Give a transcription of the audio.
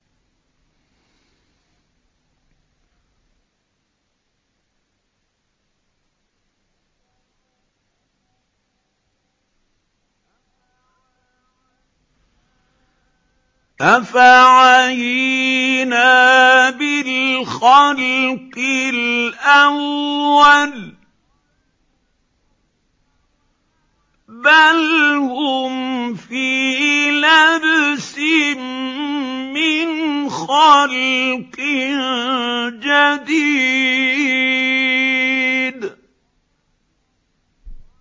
أَفَعَيِينَا بِالْخَلْقِ الْأَوَّلِ ۚ بَلْ هُمْ فِي لَبْسٍ مِّنْ خَلْقٍ جَدِيدٍ